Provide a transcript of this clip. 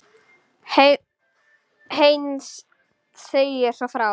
Heinz segir svo frá: